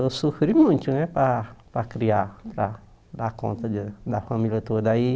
Eu sofri muito viu para para criar, para dar conta deles da família toda aí.